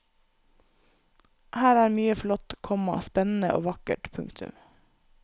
Her er mye flott, komma spennende og vakkert. punktum